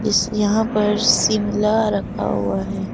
इस यहां पर शिमला रखा हुआ दिख रहा है।